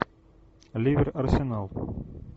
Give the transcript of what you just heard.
ливер арсенал